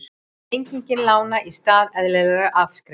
Lenging lána í stað eðlilegra afskrifta